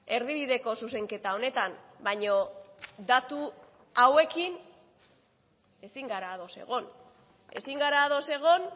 erdibideko zuzenketa honetan baina datu hauekin ezin gara ados egon ezin gara ados egon